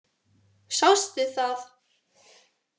Sástu það?